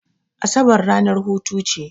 Asabar ranar hutu ce.